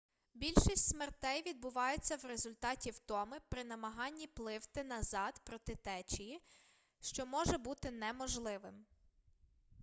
більшість смертей відбуваються у результаті втоми при намаганні пливти назад проти течії що може бути неможливим